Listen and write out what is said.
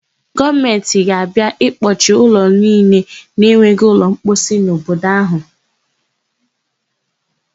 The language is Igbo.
Gọọmentị ga-abịa ịkpọchị ụlọ niile na-enweghị ụlọmposi n'obodo áhụ.